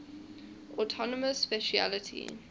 autonomous specialty